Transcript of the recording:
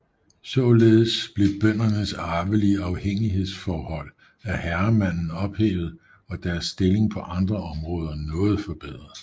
Således blev bøndernes arvelige afhængighedsforhold af herremanden ophævet og deres stilling på andre områder noget forbedret